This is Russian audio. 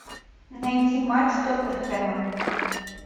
найди матч тоттерхэма